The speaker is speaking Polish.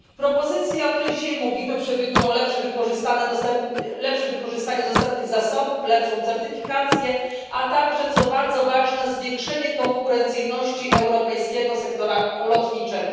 Propozycje, o której dzisiaj mówimy, przewidują lepsze wykorzystanie dostępnych zasobów, lepszą certyfikację, a także, co bardzo ważne, zwiększenie konkurencyjności europejskiego sektora lotniczego.